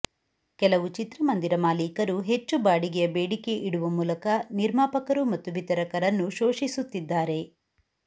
ಕೆಲವು ಚಿತ್ರಮಂದಿರ ಮಾಲಿಕರು ಹೆಚ್ಚು ಬಾಡಿಗೆಯ ಬೇಡಿಕೆ ಇಡುವ ಮೂಲಕ ನಿರ್ಮಾಪಕರು ಮತ್ತು ವಿತರಕರನ್ನು ಶೋಷಿಸುತ್ತಿದ್ದಾರೆ